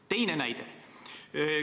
Teine näide.